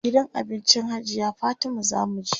gidan abincin hajiya Fatima zamu je